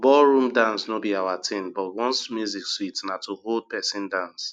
ballroom dance no be our thing but once music sweet na to hold pesin dance